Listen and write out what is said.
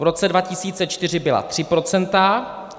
V roce 2004 byla 3 procenta.